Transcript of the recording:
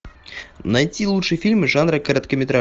найти лучшие фильмы жанра